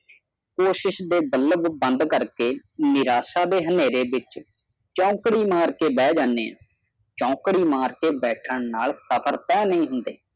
ਕੋਸਿਸ ਦੇ ਬਲਬ ਬੰਦ ਕਰਕੇ ਨਿਰਾਸ਼ਾ ਦੇ ਹਨੇਰੇ ਵਿਚ ਚੌਕੜੀ ਮਾਰ ਕੇ ਬਾਂਹ ਜਾਣੇ ਹਾਂ ਚੌਕੜੀ ਮਾਰ ਕੇ ਸਫ਼ਰ ਤਹਾ ਨਹੀਂ ਹੁੰਦੇ